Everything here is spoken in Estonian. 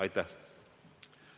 Aitäh!